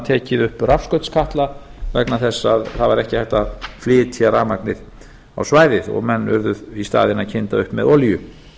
tekið upp rafskautskatla vegna þess að það var ekki hægt að flytja rafmagnið á svæðið og menn urðu í staðinn að kynda upp með olíu